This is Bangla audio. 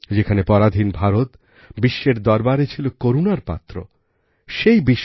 যেখানে পরাধীন ভারত বিশ্বের দরবারে ছিল করুণার পাত্র সেই বিশ্ব